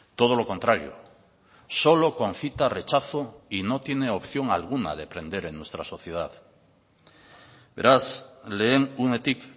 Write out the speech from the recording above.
todo lo contrario solo concita rechazo y no tiene opción alguna de prender en nuestra sociedad beraz lehen unetik